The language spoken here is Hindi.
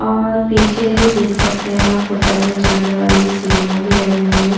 और पीछे ही देख सकते हैं आप उतरने चढ़ने वाली सीढ़ियां भी लगी हुई है।